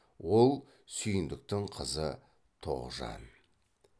ол сүйіндіктің қызы тоғжан